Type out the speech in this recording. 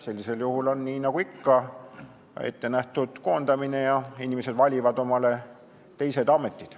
Sellisel juhul on nii nagu ikka ette nähtud koondamine ja inimesed valivad omale teise ameti.